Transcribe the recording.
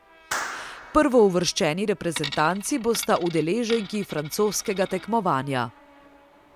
Prvouvrščeni reprezentanci bosta udeleženki francoskega tekmovanja.